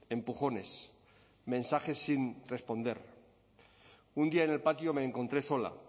empujones mensajes sin responder un día en el patio me encontré sola